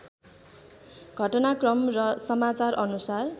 घटनाक्रम र समाचार अनुसार